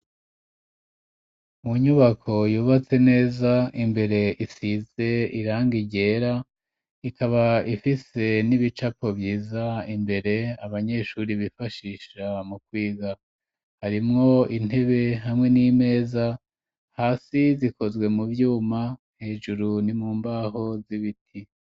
Mu nyubako, yubatse neza, imbere isize irangi ryera, ikaba ifise n'ibicapo vyiza, imbere, abanyeshuri bifashisha, mu kwiga; harimwo intebe, hamwe n'imeza, hasi zikozwe mu vyuma, hejuru ni mu mbaho z'ibiti.